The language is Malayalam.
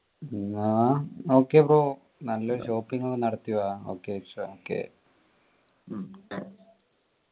എന്നാ okay ബ്രോ നല്ലൊരു shopping നടത്തി വാ okay okay ഉം